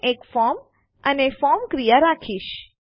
મેં એક ફોર્મ અને ફોર્મ ક્રિયા રાખીશ